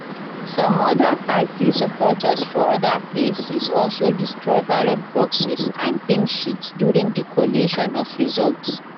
some oda party supporters for oda places also destroy ballot boxes and pink sheets during di collation of results